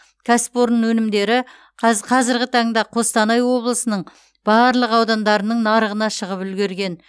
кәсіпорын өнімдері қаз қазіргі таңда қостанай облысының барлық аудандарының нарығына шығып үлгерген